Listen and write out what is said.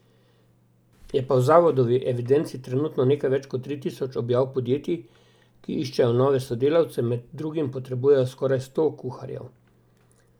Je pa v zavodovi evidenci trenutno nekaj več kot tri tisoč objav podjetij, ki iščejo nove sodelavce, med drugim potrebujejo skoraj sto kuharjev.